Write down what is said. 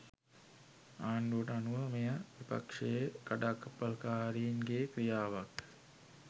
ආණ්ඩුවට අනුව මෙය විපක්ෂයේ කඩාකප්පල්කාරීන් ගේ ක්‍රියාවක්